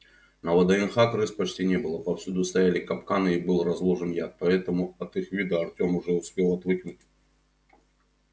на вднх крыс почти не было повсюду стояли капканы и был разложен яд поэтому от их вида артём уже успел отвыкнуть